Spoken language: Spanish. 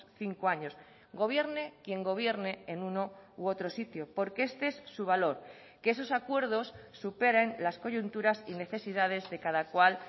cinco años gobierne quien gobierne en uno u otro sitio porque este es su valor que esos acuerdos superen las coyunturas y necesidades de cada cual